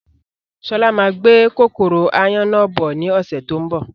Sọlá máa gbé kòkòrò áyán náà bọ̀ ni ọ̀sẹ̀ tó ń bọ̀